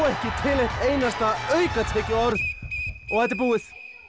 ekki til neitt einasta aukatekið orð og þetta er búið